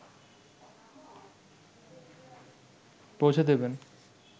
পৌঁছে দেবেন